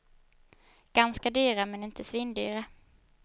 Ganska dyra, men inte svindyra.